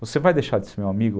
Você vai deixar de ser meu amigo?